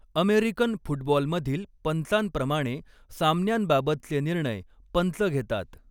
American फुटबॉलमधील पंचांप्रमाणे सामन्यांबाबतचे निर्णय पंच घेतात.